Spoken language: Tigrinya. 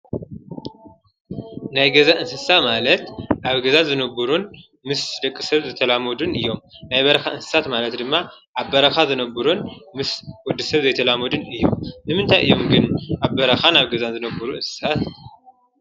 ናይ ገዛ እንስሳ ማለት አብ ገዛ ዝነብሩን ምስ ደቂ ሰብ ዝተላመዱን እዮም። ናይ በረኻ እንስሳት ማለት ድማ አብ በረኻ ዝነብሩን ምስ ወዲ ሰብ ዘይተላመዱን እዮም። ንምንታይ እዮም ግን ኣብ በረኻ ኣብ ገዛ ዝነብሩ እንስሳ?